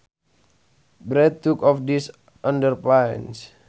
Brad took off his underpants